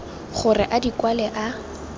gore a di kwale a